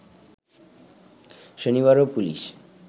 শনিবারও police